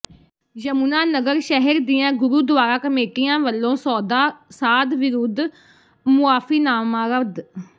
ਯਮੁਨਾਨਗਰ ਸ਼ਹਿਰ ਦੀਆਂ ਗੁਰੁਦੁਆਰਾ ਕਮੇਟੀਆਂ ਵੱਲੋਂ ਸੌਦਾ ਸਾਧ ਵਿੱਰੁਧ ਮੁਆਫੀਨਾਮਾ ਰੱਦ